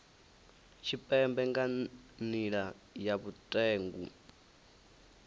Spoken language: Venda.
tshipembe nga nila ya vhutengu